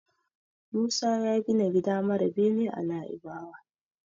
Musa ya gina gida mara bene a Naibawa.